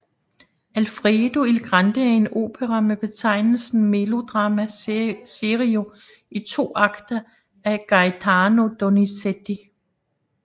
Alfredo il grande er en opera med betegnelsen melodramma serio i to akter af Gaetano Donizetti